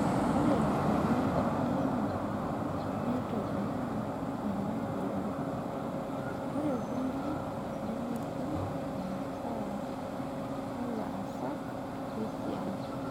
Ore kulie airemok neitobiraa ena puliya, ore kulie nemetum imasaa olaasak lesiai.